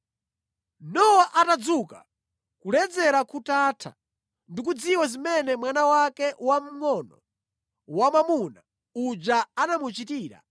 Nowa atadzuka, kuledzera kutatha, ndikudziwa zimene mwana wake wamngʼono wamwamuna uja anamuchitira,